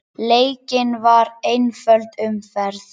Leikin var einföld umferð.